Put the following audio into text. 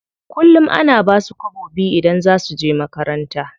Kullum ana basu kwabo biyu idan za suje makaranta.